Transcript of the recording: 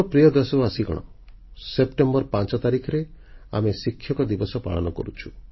ମୋର ପ୍ରିୟ ଦେଶବାସୀଗଣ ସେପ୍ଟେମ୍ବର 5 ତାରିଖରେ ଆମେ ଶିକ୍ଷକ ଦିବସ ପାଳନ କରୁଛୁ